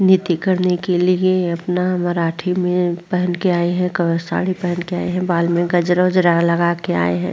नीति करने के लिए अपना मराठी में पहन के आए हैं क साडी पहन कर आए हैं। बाल में गजरा वजरा लगा के आए हैं।